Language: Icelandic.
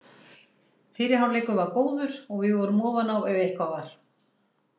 Fyrri hálfleikur var góður og við vorum ofan á ef eitthvað var.